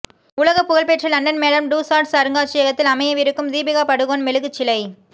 உலகப்புகழ் பெற்ற London Madame Tussauds அருங்காட்சியகத்தில் அமையவிருக்கும் தீபிகா படுகோன் மெழுகுச்சிலை